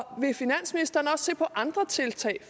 vil finansministeren også se på andre tiltag